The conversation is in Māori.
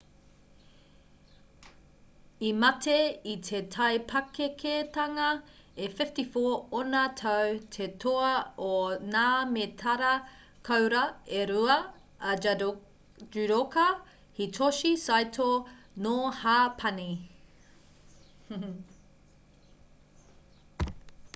i mate i te taipakeketanga e 54 ōna tau te toa o ngā mētara koura e rua a judoka hitoshi saito nō hāpani